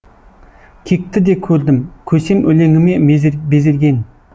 кекті де көрдім көсем өлеңіме безерген